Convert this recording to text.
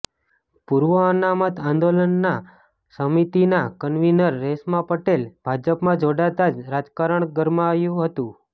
પૂર્વ અનામત આંદોલનના સમિતિના કન્વીનર રેશમા પટેલ ભાજપમાં જોડાતા જ રાજકારણ ગરમાયું હતું